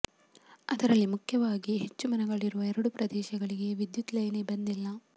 ಅದರಲ್ಲಿ ಮುಖ್ಯವಾಗಿ ಹೆಚ್ಚು ಮನೆಗಳಿರುವ ಎರಡು ಪ್ರದೇಶಗಳಿಗೆ ವಿದ್ಯುತ್ ಲೈನೇ ಬಂದಿಲ್ಲ